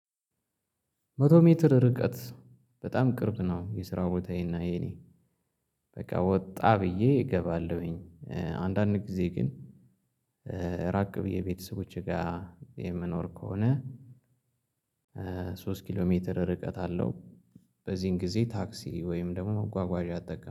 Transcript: መቶ ሜትር ርቀት በጣም ቅርብ ነው የስራው ቦታዬና የኔ በቃ ወጣ ብዬ እገባለሁኝ፤ አንዳንድ ጊዜ ግን ራቅ ብዬ ቤተሰቦቼ ጋር የምኖር ከሆነ ሶስት ኪሎ ሜትር ርቀት አለው በዚህን ጊዜ ታክሲ ወይም ደግሞ መጓጓዣ አጠቀማለሁ።